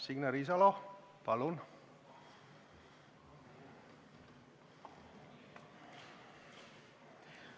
Signe Riisalo, palun!